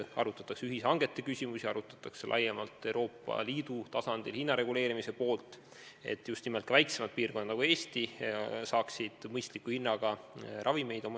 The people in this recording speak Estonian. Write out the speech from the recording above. Arutatakse ühishangete küsimusi, arutatakse laiemalt Euroopa Liidu tasandil hinna reguleerimist, et just nimelt sellised väiksemad piirkonnad nagu Eesti saaksid oma inimestele mõistliku hinnaga ravimeid.